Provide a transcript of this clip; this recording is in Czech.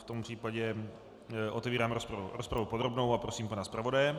V tom případě otevírám rozpravu podrobnou a prosím pana zpravodaje.